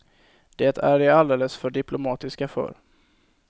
Det är de alldeles för diplomatiska för.